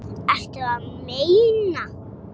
Ertu að meina.?